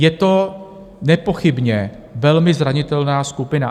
Je to nepochybně velmi zranitelná skupina.